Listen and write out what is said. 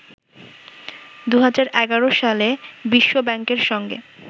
২০১১সালে বিশ্ব ব্যাংকের সঙ্গে